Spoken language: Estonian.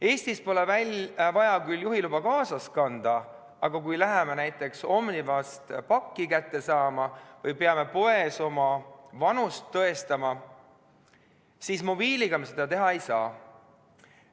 Eestis pole küll vaja juhiluba kaasas kanda, aga kui läheme näiteks Omnivast pakki kätte saama või peame poes oma vanust tõestama, siis mobiiliga me seda teha ei saa.